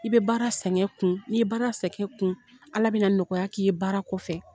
I bɛ baara sɛgɛn kun n'i ye baara sɛgɛn kun Ala bɛ na nɔgɔya k'i ye baara kɔfɛ.